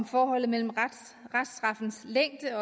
forholdet mellem reststraffens længde